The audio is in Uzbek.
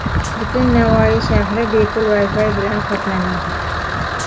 Butun Navoiy shahri bepul Wi-Fi bilan qoplanadi.